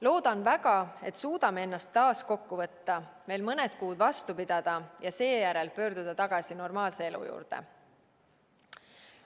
Loodan väga, et suudame ennast taas kokku võtta, veel mõned kuud vastu pidada ja seejärel pöörduda tagasi normaalse elu juurde.